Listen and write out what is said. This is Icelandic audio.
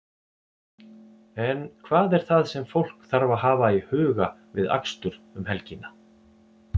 En hvað er það sem fólk þarf að hafa í huga við akstur um helgina?